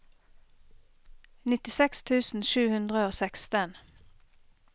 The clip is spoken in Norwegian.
nittiseks tusen sju hundre og seksten